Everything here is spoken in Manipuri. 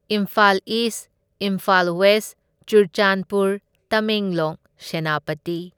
Imphal east, Imphal west, Churachandpur, Tamenglong, Senapati.